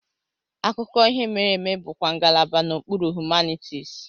Akụkọ ihe mere eme bụkwa ngalaba n'okpuru Humanities.